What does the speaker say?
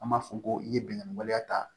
An b'a fɔ ko i ye bingani waleya ta